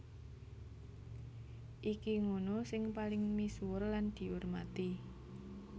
Iki ngunu sing paling misuwur lan diurmati